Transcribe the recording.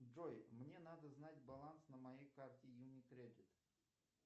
джой мне надо знать баланс на моей карте юникредит